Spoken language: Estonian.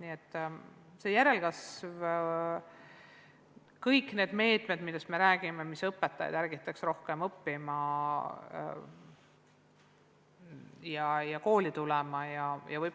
Nii et järelkasvu kohta ütlen, et me rakendame kõiki meetmeid, mis ärgitaks rohkem õpetajaks õppima ja kooli tulema, või